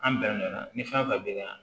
An bɛnna ni fɛn fɛn bɛ na